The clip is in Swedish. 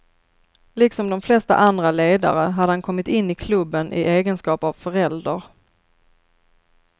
Liksom de flesta andra ledare hade han kommit in i klubben i egenskap av förälder.